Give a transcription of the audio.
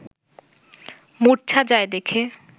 মুর্ছা যায় দেখে